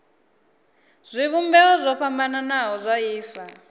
zwivhumbeo zwo fhambanaho zwa ifa